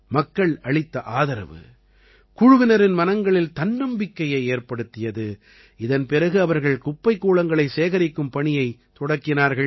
மக்கள் அளித்த ஆதரவு குழுவினரின் மனங்களில் தன்னபிக்கையை அதிகப்படுத்தியது இதன் பிறகு அவர்கள் குப்பைக் கூளங்களைச் சேகரிக்கும் பணியைத் தொடக்கினார்கள்